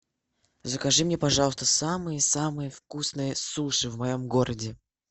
закажи мне пожалуйста самые самые вкусные суши в моем городе